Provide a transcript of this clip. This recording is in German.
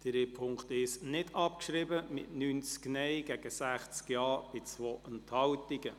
Sie haben den Punkt 1 der Motion nicht abgeschrieben, mit 90 Nein- gegen 60 Ja-Stimmen bei 2 Enthaltungen.